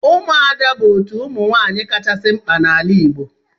Ụmụada bụ otu ụmụ nwaanyị kachasị mkpa n'ala Igbo